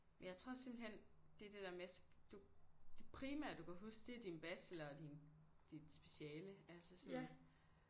Men jeg tror simpelthen det er det der med du det primære du kan huske det er din bachelor og din dit speciale altså sådan